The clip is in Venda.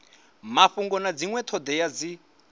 mafhungo na dzinwe thodea dzi